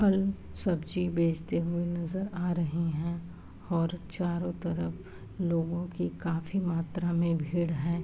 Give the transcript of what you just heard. फल सब्जी बेचते हुए नजर आ रहे हैं और चारों तरफ लोगों की काफी मात्रा में भीड़ है।